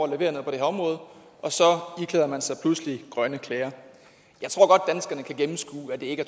at levere noget på det her område og så iklæder man sig pludselig grønne klæder jeg tror godt danskerne kan gennemskue at det ikke